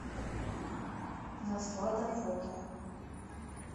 наслада фото